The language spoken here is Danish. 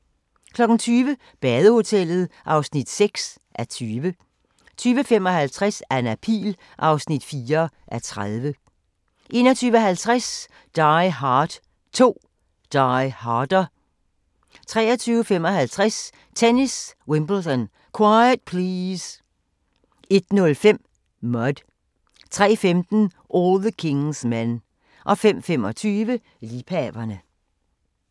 20:00: Badehotellet (6:20) 20:55: Anna Pihl (4:30) 21:50: Die Hard 2: Die Harder 23:55: Tennis: Wimbledon - quiet please! 01:05: Mud 03:15: All the King's Men 05:25: Liebhaverne